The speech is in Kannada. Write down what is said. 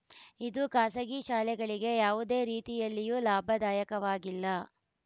ಇದು ಖಾಸಗಿ ಶಾಲೆಗಳಿಗೆ ಯಾವುದೇ ರೀತಿಯಲ್ಲಿಯೂ ಲಾಭದಾಯಕವಾಗಿಲ್ಲ